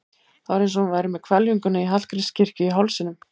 Það var eins og hún væri með hvelfinguna í Hallgrímskirkju í hálsinum.